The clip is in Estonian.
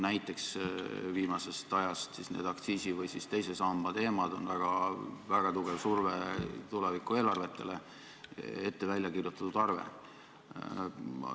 Näiteks viimasest ajast, need aktsiisi- või teise samba teemad on väga tugev surve tuleviku eelarvetele, ette väljakirjutatud arve.